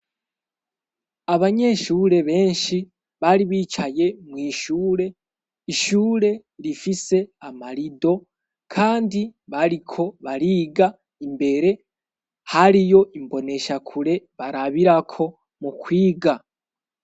Abanyeshure benshi bari bicaye mu ishure ishure rifise amarido kandi bariko bariga imbere hariyo imboneshakure barabirako mu kwiga.